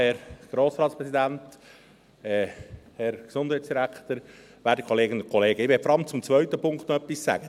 Ich möchte vor allem zum zweiten Punkt etwas sagen.